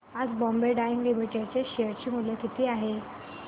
आज बॉम्बे डाईंग लिमिटेड चे शेअर मूल्य किती आहे सांगा